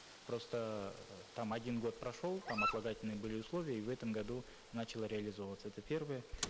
просто там один год прошел там отлагательные были условия и в этом году начало реализовываться это первое